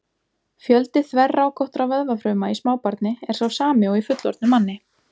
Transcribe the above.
Fjöldi þverrákóttra vöðvafruma í smábarni er sá sami og í fullorðnum manni.